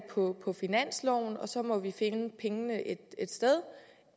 på finansloven og så må man finde pengene et sted